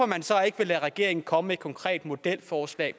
man så ikke lade regeringen komme med et konkret modelforslag